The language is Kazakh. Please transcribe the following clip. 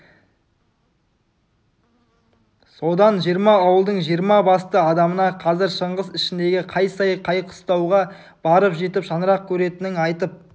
содан жиырма ауылдың жиырма басты адамына қазір шыңғыс ішіндегі қай сай қай қыстауға барып жетіп шаңырақ көтеретінін айтып